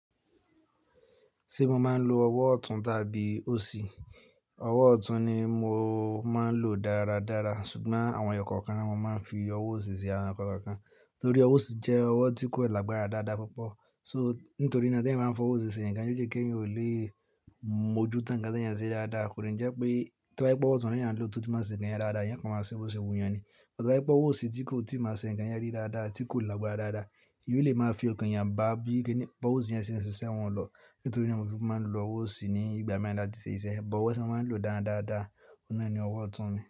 Ṣé mo máa ń lo ọwọ́ ọ̀tún tàbí òsì? Ọwọ́ ọ̀tún ni mo máa ń lò dáradára ṣùgbọ́n àwọn ẹ̀yà kọ̀ọ̀kan ni mo máa ń fi ọwọ́ òsì ṣe àwọn ẹ̀yà kọ̀ọ̀kan torí ọwọ́ òsì jẹ́ ọwọ́ tí kò lágbára dáadáa púpọ̀. Só nítorí náà tí ẹ̀yin bá ń fọ ọwọ́ òsì ṣe nǹkan, ó jẹ́ kí ẹ̀yin ò lè mójú tán ǹkan tí ẹ̀yin ṣe dáadáa. Kò rí i jẹ́ pé tí wọ́n bá gbọ́ ọwọ́ ọ̀tún rẹ yàn ló tó tí máa ṣe ǹkan rẹ dáadáa, ìyẹn kàn máa ṣe òwò ṣe wù yàn ni. Ọ̀tọ̀ láti gbọ́ ọwọ́ òsì tí kò tí máa ṣe ǹkan yẹn rí dáadáa, tí kò lágbára dáadáa, yóò lè máa fi ọkàn yàn bá bí i kíni gbọ́ ọwọ́ òsì yẹn ṣe ń ṣiṣẹ́ wọn lọ nítorí náà mo fi máa ń lo ọwọ́ òsì ní ìgbà mìíràn láti ṣe iṣẹ́. Ọwọ́ ti mo maa ń lò dáradára, ọ̀nà rẹ̀ ni ọwọ́ ọ̀tún mi.